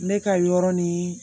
Ne ka yɔrɔ ni